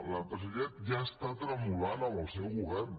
l’empresariat ja està tremolant amb el seu govern